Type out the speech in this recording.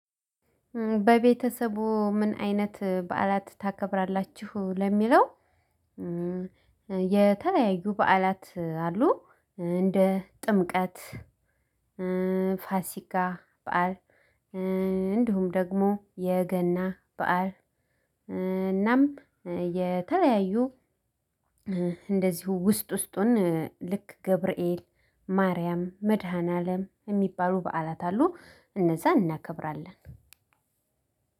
በቤተሰቡ ምን አይነት በዓላት ታከብራላችሁ ለሚለው? የተለያዩ በዓላት አሉ። እንደ ጥምቀት ፋሲካ በዓል እንዲሁም ደግሞ የገና በዓል እናም የተለያዩ እንደዚሁ ውስጥ ውስጡን ልክ ገብርኤል ማርያም መድኃኒዓለም የሚባሉ በዓላት አሉ። እነዛ እናከብራለን።